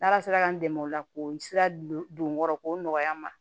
N'ala sera k'an dɛmɛ o la ko sira don n kɔrɔ k'o nɔgɔya n ma